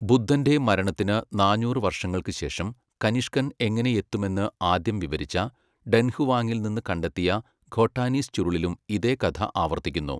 ബുദ്ധൻ്റെ മരണത്തിന് നാനൂറ് വർഷങ്ങൾക്ക് ശേഷം, കനിഷ്കൻ എങ്ങനെ എത്തുമെന്ന് ആദ്യം വിവരിച്ച, ഡൻഹുവാങ്ങിൽ നിന്ന് കണ്ടെത്തിയ ഖോട്ടാനീസ് ചുരുളിലും ഇതേ കഥ ആവർത്തിക്കുന്നു.